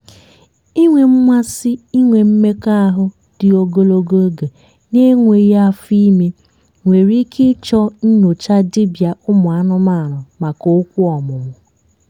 inwe mmasị inwe mmekọahụ dị ogologo oge na-enweghị afọ ime nwere ike ịchọ nyocha dibia umuanumanu maka okwu ọmụmụ.